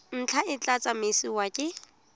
ntlha e tla tsamaisiwa ke